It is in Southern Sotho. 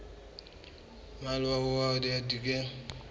a mmalwa ho ya dibekeng